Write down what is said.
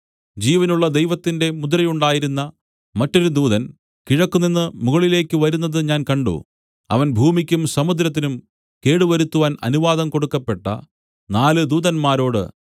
ജീവനുള്ള ദൈവത്തിന്റെ മുദ്രയുണ്ടായിരുന്ന മറ്റൊരു ദൂതൻ കിഴക്കുനിന്ന് മുകളിലേക്കു വരുന്നത് ഞാൻ കണ്ട് അവൻ ഭൂമിക്കും സമുദ്രത്തിനും കേടുവരുത്തുവാൻ അനുവാദം കൊടുക്കപ്പെട്ട നാല് ദൂതന്മാരോട്